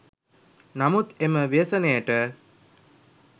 නමුත් එම ව්‍යසනයට